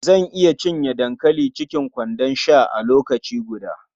Zan iya cinye dankali cikin kwanon sha a lokaci guda.